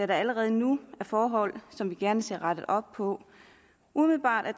der allerede nu er forhold som vi gerne ser rettet op på umiddelbart er